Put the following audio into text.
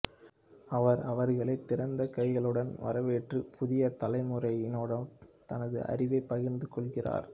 அவர் அவர்களை திறந்த கைகளுடன் வரவேற்று புதிய தலைமுறையினருடன் தனது அறிவைப் பகிர்ந்து கொள்கிறார்